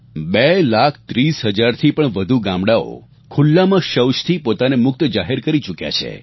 2 લાખ 30 હજારથી પણ વધુ ગામડાંઓ ખૂલ્લામાં શૌચથી પોતાને મુક્ત જાહેર કરી ચૂક્યા છે